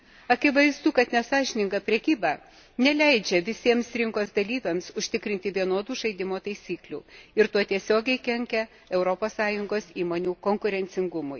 Akivaizdu, kad nesąžininga prekyba neleidžia visiems rinkos dalyviams užtikrinti vienodų žaidimo taisyklių ir tuo tiesiogiai kenkia Europos Sąjungos įmonių konkurencingumui.